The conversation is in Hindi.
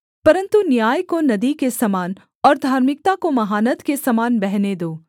परन्तु न्याय को नदी के समान और धार्मिकता को महानद के समान बहने दो